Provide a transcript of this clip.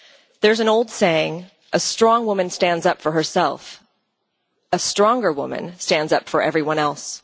There is an old saying A strong woman stands up for herself, a stronger woman stands up for everyone else'.